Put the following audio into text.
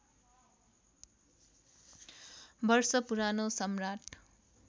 वर्ष पुरानो सम्राट